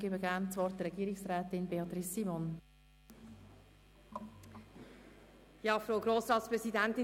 Gerne gebe ich Regierungsrätin Simon das Wort.